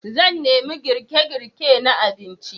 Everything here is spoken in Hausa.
Zan nemi girke-girke na abinci.